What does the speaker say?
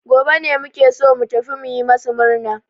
Gobe ne muke so mu tafi mu yi masu murna.